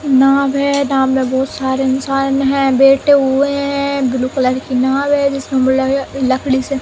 नाव है। नाव में बोहत सारे इंसान हैं बैठे हुए हैं। ब्लू कलर की नाव है जिसमे लोह लकड़ी से --